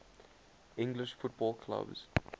english football clubs